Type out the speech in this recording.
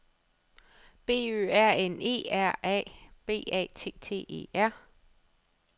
B Ø R N E R A B A T T E R